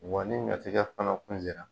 Wa ɲɔtigɛ fana kun sera.